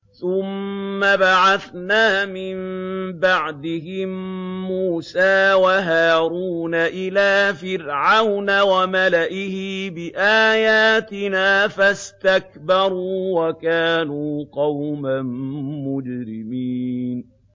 ثُمَّ بَعَثْنَا مِن بَعْدِهِم مُّوسَىٰ وَهَارُونَ إِلَىٰ فِرْعَوْنَ وَمَلَئِهِ بِآيَاتِنَا فَاسْتَكْبَرُوا وَكَانُوا قَوْمًا مُّجْرِمِينَ